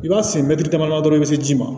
I b'a sen mɛtiri damadɔ dɔrɔn i bɛ se ji ma